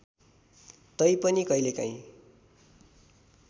तै पनि कहिलेकाहिँ